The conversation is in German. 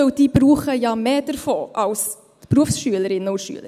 Denn diese brauchen ja mehr davon, als die Berufsschülerinnen und Berufsschüler.